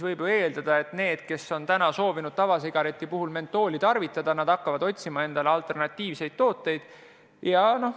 Võib ehk eeldada, et inimesed, kes on seni eelistanud mentooliga tavasigarette, hakkavad otsima alternatiivseid tooteid.